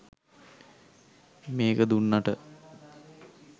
මේක දුන්නට